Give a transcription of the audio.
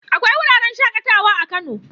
Akwai wuraren shaƙatawa a Kano.